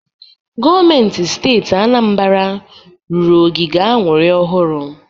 Gọọmentị Steeti Anambara rụrụ ogige aṅụrị ọhụrụ.